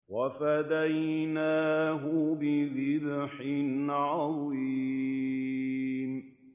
وَفَدَيْنَاهُ بِذِبْحٍ عَظِيمٍ